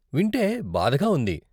వింటే బాధగా ఉంది.